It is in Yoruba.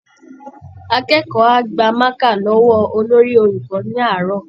Akẹ́kọ̀ọ́ á gba mákà lọ́wọ́ olórí-olùkọ́ ní àárọ̀